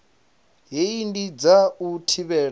hei ndi dza u thivhela